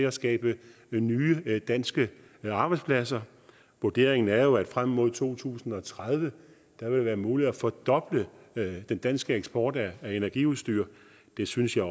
at skabe nye nye danske arbejdspladser vurderingen er jo at der frem mod to tusind og tredive vil være mulighed for at fordoble den danske eksport af energiudstyr det synes jeg